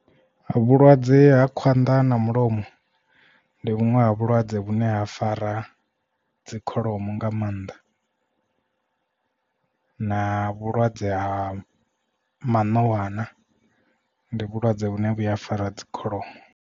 Vhulwadze ha khwanḓa na mulomo ndi vhuṅwe ha vhulwadze vhune ha fara dzi kholomo nga maanḓa na vhulwadze ha maṋowana ndi vhulwadze vhune vhu a fara dzi kholomo.